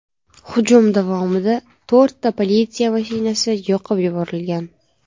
Hujum davomida to‘rtta politsiya mashinasi yoqib yuborilgan.